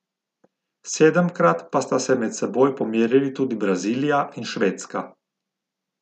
Sedemkrat pa sta se med seboj pomerili tudi Brazilija in Švedska.